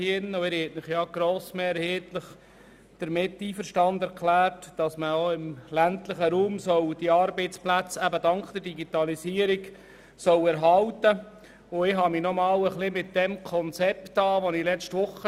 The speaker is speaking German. Sie haben sich grossmehrheitlich damit einverstanden erklärt, dass man mithilfe der Digitalisierung auch im ländlichen Raum Arbeitsplätze erhalten soll.